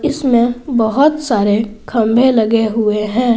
इसमें बहोत सारे खंभे लगे हुए हैं।